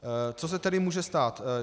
Co se tedy může stát?